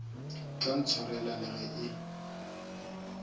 tla ntshwarela le ge e